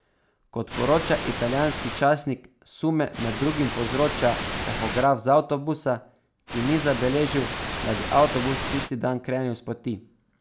Kot poroča italijanski časnik, sume med drugim povzroča tahograf z avtobusa, ki ni zabeležil, da bi avtobus tisi dan krenil s poti.